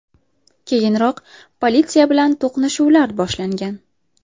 Keyinroq politsiya bilan to‘qnashuvlar boshlangan.